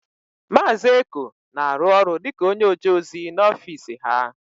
Maazị Eko na-arụ ọrụ dịka onyeojeozi n'ofiisi ha.